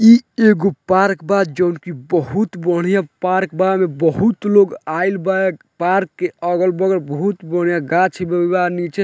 इ एगो पार्क बा जोन की बहुत बढ़िया पार्क बा ओय मे बहुत लोग आयल बा एक पार्क के अगल-बगल बहुत बढ़िया गाछ नीचे।